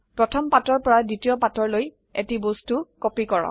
প্ৰথম পাতৰ পৰা দ্বিতীয় পাতৰলৈ এটি বস্তু কপি কৰক